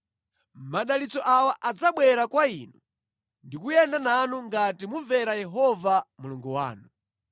Madalitso awa adzabwera kwa inu ndi kuyenda nanu ngati mumvera Yehova Mulungu wanu: